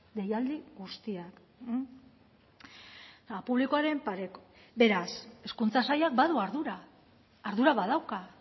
deialdi guztiak publikoaren pareko beraz hezkuntza sailak badu ardura ardura badauka